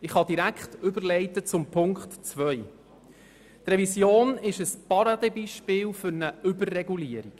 Zweitens ist diese Revision ein Paradebeispiel für eine Überregulierung.